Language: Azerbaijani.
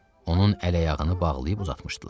Onun əl-ayağını bağlayıb uzatmışdılar.